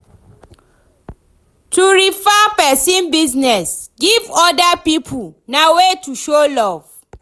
To refer persin business give oda pipo na way to show love